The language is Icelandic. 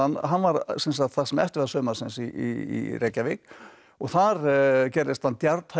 hann var sem eftir var sumars í Reykjavík og þar gerðist hann